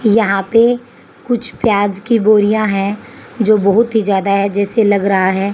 यहां पे कुछ प्याज की बोरिया है जो बहुत ही ज्यादा है जैसे लग रहा है।